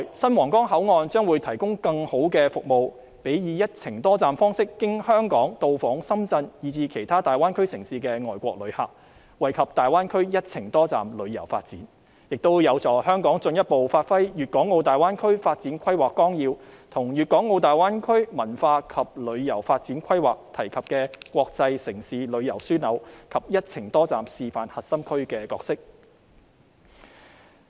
新皇崗口岸未來會提供更好的服務予"一程多站"方式經香港到訪深圳以至其他大灣區城市的外國旅客，惠及大灣區"一程多站"旅遊發展，這亦有助香港進一步發揮《粵港澳大灣區發展規劃綱要》及粵港澳大灣區文化及旅遊發展規劃提及的國際城市旅遊樞紐，以及"一程多站"示範核心區的角色。